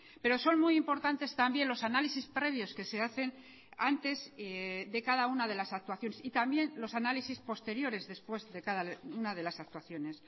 pero son muy importantes también los análisis previos que se hacen antes de cada una de las actuaciones y también los análisis posteriores después de cada una de las actuaciones